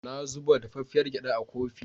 Na zuba dafaffiar gyaɗa a kofi.